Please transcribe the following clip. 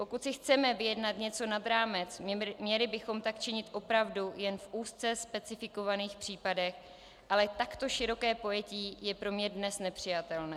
Pokud si chceme vyjednat něco nad rámec, měli bychom tak činit opravdu jen v úzce specifikovaných případech, ale takto široké pojetí je pro mne dnes nepřijatelné.